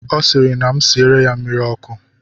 ọ sịrị na m siere ya mmiri ọkụ